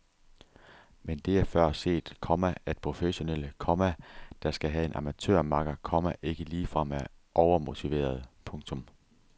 Men det er før set, komma at professionelle, komma der skal have en amatørmakker, komma ikke ligefrem er overmotiverede. punktum